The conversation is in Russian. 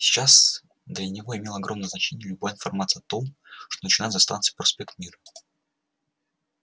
сейчас для него имела огромное значение любая информация о том что начинается за станцией проспект мира